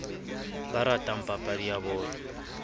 ba ratang papadi ya bolo